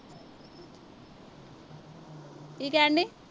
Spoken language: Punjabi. ਕੀ ਕਹਿਣ ਡਈ।